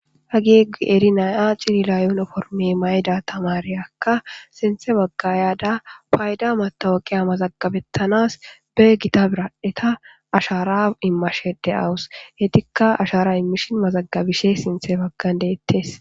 hage qeri naya cilila yuuniformi mayida tamareyakka sinthe baggayada payda matawaqiya mazagabettanas be gita biraeta ashara immashe de7awus etikka ashara immishin mazagabishe sinthe baggan deettes